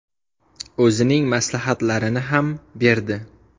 O‘zining maslahatlarini ham berdi.